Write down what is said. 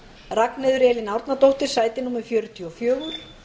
ragnheiður elín árnadóttir sæti fjörutíu og fjögur